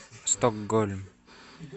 стокгольм